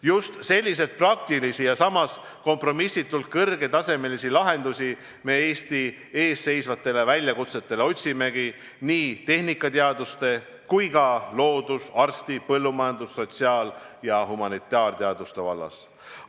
Just selliseid praktilisi ja samas kompromissitult kõrgetasemelisi lahendusi me Eesti ees seisvatele väljakutsetele otsimegi, nii tehnikateaduste kui ka loodus-, arsti-, põllumajandus-, sotsiaal- ja humanitaarteaduste vallas.